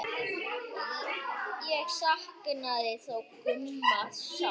Ég saknaði þó Gumma sárt.